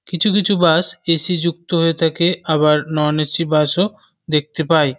কিছু কিছু bus AC. যুক্ত হয়ে থাকে আবার নন এ.সি. বাস -ও দেখতে পাই।